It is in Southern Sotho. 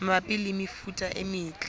mabapi le mefuta e metle